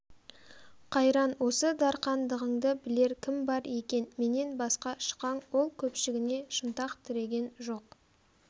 қайран осы дарқандығыңды білер кім бар екен менен басқа шықаң ол көпшігіне шынтақ тіреген жоқ